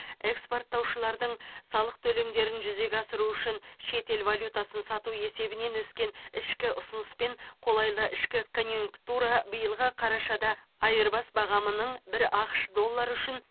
экспорттаушылардың салық төлемдерін жүзеге асыру үшін шетел валютасын сату есебінен өскен ішкі ұсыныс пен қолайлы ішкі конъюнктура биылғы қарашада айырбас бағамының бір ақш доллары үшін